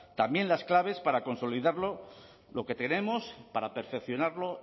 también las claves para consolidar lo que tenemos para perfeccionarlo